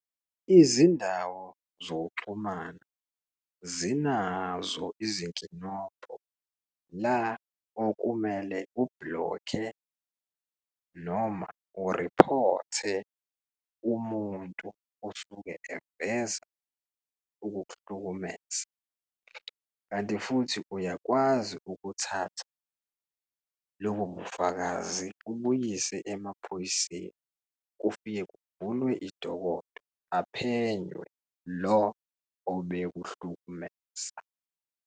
Izindawo zokuxhumana zinazo izinkinobho la okumele u-block-e noma u-report-e umuntu osuke eveza ukuk'hlukumeza, kanti futhi uyakwazi ukuthatha lobo bufakazi ubuyiswe emaphoyiseni, kufike kuvulwe idokodo aphenye lo obekuhlukumeza.